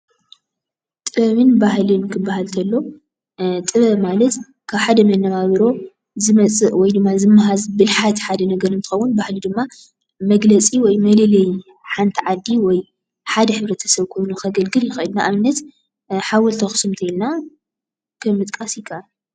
ጥበብን ባህልን ክባሃል ከሎ ጥበብ ማለት ካብ ሓደ መነባብሮ ዝመፅእ ወይ ድማ ዝመሃዝ ብልሓት ሓደ ነገር እንትከውን ባህሊ ድማ መግለፂ ወይ መለለዪ ሓንቲ ዓዲ ወይ ሓደ ሕብረተሰብ ኮይኑ ከገልግል ይክእል እዩ፡፡ ንኣብነት ሓወልቲ ኣክሱም እንተልና ከም ምጥቃስ ይካኣል፡፡